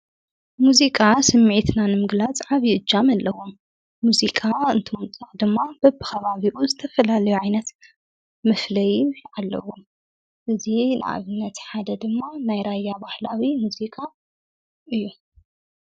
ሙዚቃ ስሚዕትና ንምግላጽ ዓብዪ እጃም ኣለዎ ሙዚቃ እንትወንፅቕ ድማ በብ ኻባቢኡ ዝተፈላልዮ ዓይነት ምፍለይ ኣለዉ እዙ ንኣብነት ሓደ ድማ ናይ ራያ ባሕላዊ ሙዙቃ እዩ።